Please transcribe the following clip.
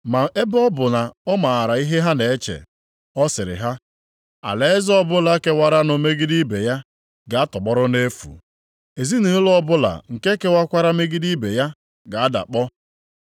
Ma ebe ọ bụ na ọ maara ihe ha na-eche, ọ sịrị ha, “Alaeze ọbụla kewaranụ megide ibe ya, ga-atọgbọrọ nʼefu, ezinaụlọ ọbụla nke kewakwara megide ibe ya ga-adakpọ.